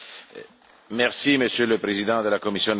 Merci Monsieur le Président de la Commission européenne.